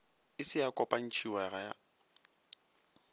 e se ya kopantšhwago ya